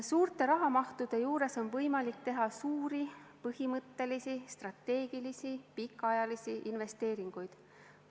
Suurte rahamahtudega on võimalik teha suuri, põhimõttelisi, strateegilisi, pikaajalisi investeeringuid.